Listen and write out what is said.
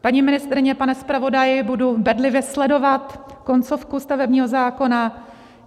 Paní ministryně, pane zpravodaji, budu bedlivě sledovat koncovku stavebního zákona.